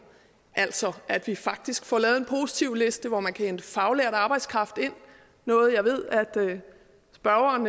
altså at vi faktisk får lavet en positivliste hvor man kan hente faglært arbejdskraft ind noget jeg ved spørgeren